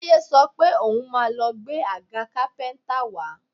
Táyé sọ pé òun máa lọ gbé agà kápẹ́ńtà wá